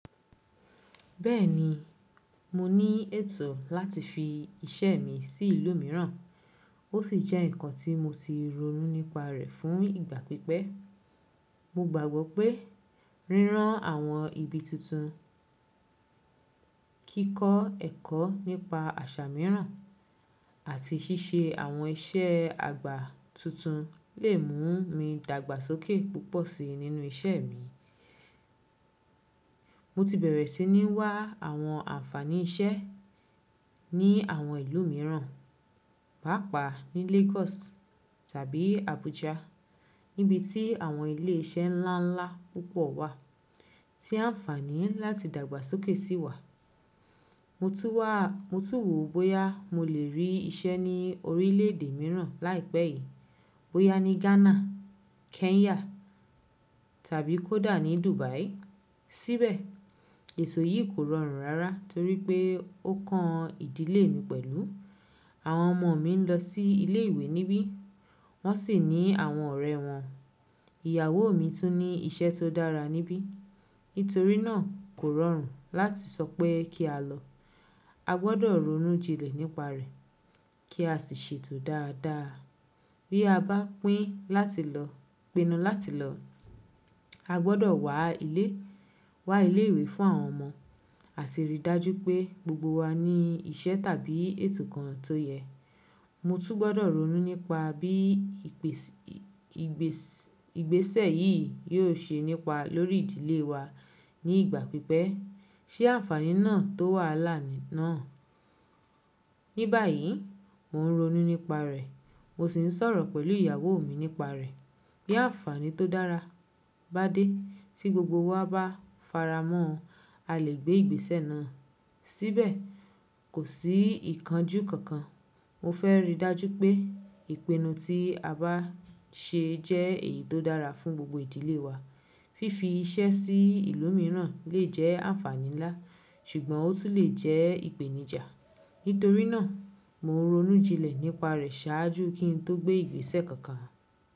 Bẹ́ẹ̀ni, mo ní ètò láti fi iṣẹ́ mi sí ìlú mìíràn, ó sì jẹ́ ǹkan tí mo ti ronú nípa rẹ̀ fún ìgbà pípẹ́. Mo gbàgbọ́ pé rírán àwọn ibi tuntun, kíkọ́ ẹ̀kọ́ nípa àṣà mìíràn, àti ṣíṣe àwọn iṣẹ́ àgbà tuntun lè mú mi dàgbàsókè púpọ̀ síi nínú iṣẹ́ mi. Mo ti bẹ̀rẹ̀ sí ní wá àwọn àǹfààní iṣẹ́ ní àwọn ìlú mìíràn, pàápàá ní Lagos tàbí Abuja, níbi tí àwọn ilé iṣẹ́ ńlá ńlá púpọ̀ wà tí à ǹfààní láti dàgbàsókè sí wà. Mo tún wò bóyá mo lè rí iṣẹ́ ní orílẹ̀ èdè mìíràn láìpẹ́ yìí, bóyá ní Ghana, Kenya tàbí kódà ní Dubai. Síbẹ̀, èto yìí kò rọrùn rara torí pé ó kan ìdílé mi pẹ̀lú. Àwọn ọmọ mi ń lọ sí ilé ìwé níbí, wọ́n sì ní àwọn ọ̀rẹ́ wọn. Ìyàwó mi tún ní iṣẹ́ tó dára níbí. Nítorí náà kò rọrùn láti sọ pé kí á lọ. A gbọdọ̀ ronú jinlẹ̀ nípa rẹ̀ kí a sì ṣètò dáadáa bí a bá pín láti lọ, pinu lati lo. A gbọdọ̀ wá ilé ìwé fún àwọn ọmọ àti rí i dájú pé gbogbo wa ní iṣẹ́ tàbí ètò kan tó yẹ. Mo tún gbọdọ̀ ronú nípa bí ìgbésẹ̀ yìí yóò ṣe nípa lórí ìdílé wa ní ìgbà pípẹ́. Ṣé àǹfààní náà tó wàhalà ni náà. Níbàyí, mò ń ronú nípa rẹ̀, mo sì ń sọ̀rọ̀ pẹ̀lú ìyàwó mi nípa rẹ̀. Bí àǹfààní tó dára bá dé tí gbogbo wa bá faramọ́, a lè gbé ìgbésẹ̀ náà. Síbẹ̀, kò sí ìkánjú kankan. Mo fẹ́ rí i dájú pé ìpinnu tí a bá ṣe jẹ́ èyí tó dára fún gbogbo ìdílé wa. Fifi iṣẹ́ sí ìlú mìíràn lè jẹ́ àǹfààní ńlá, ṣùgbọ́n ó tún lè jẹ́ ìpèníjà. Nítorí náà, mò ń ronú jinlẹ̀ nípa rẹ̀ ṣáájú kí n tó gbé ìgbésẹ̀ kankan.